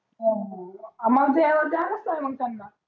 द्यायलाच लागणार मग त्यांना